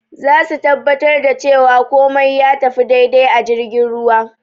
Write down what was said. Zasu tabbatar da cewa kumai ya tafi dai-dai a jirgin ruwa